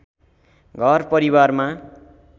घर परिवारमा